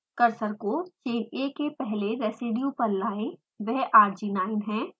cursor को chain a के पहले residue पर लायें वह arginine है